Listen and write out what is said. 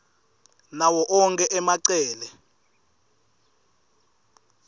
nawo onkhe emacele